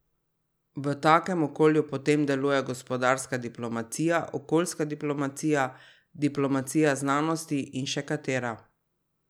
V takem okolju potem delujejo gospodarska diplomacija, okoljska diplomacija, diplomacija znanosti in še katera.